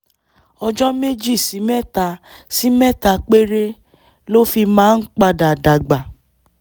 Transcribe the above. ọjọ́ méjì sí mẹ́ta sí mẹ́ta péré ló fi máa ń padà dàgbà